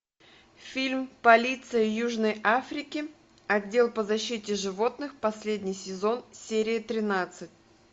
фильм полиция южной африки отдел по защите животных последний сезон серия тринадцать